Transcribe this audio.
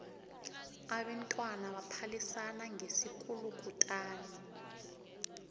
abentwana baphalisana ngesikulukutani